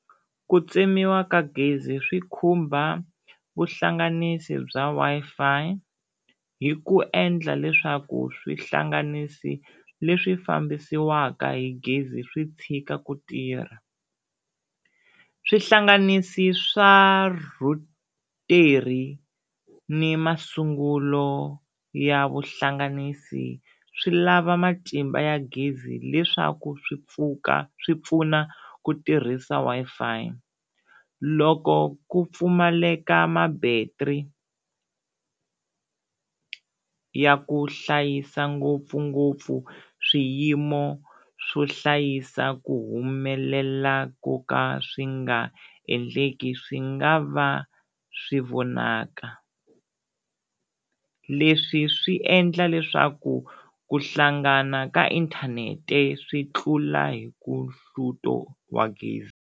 Ku tsemiwa ka gezi swi khumba vuhlanganisi bya Wi-Fi hi ku endla leswaku swihlanganisi leswi fambisiwaka hi gezi swi tshika ku tirha swihlanganisi swa rhutara ni masungulo ya vuhlanganisi swi lava matimba ya gezi leswaku swi pfuka swi pfuna ku tirhisa Wi-Fi loko ku pfumaleka ma-battery ya ku hlayisa ngopfungopfu swiyimo swo hlayisa ku humelela ko ka swi nga endleki swi nga va swi vonaka leswi swi endla leswaku ku hlangana ka inthanete swi tlula hi ku hluto wa gezi.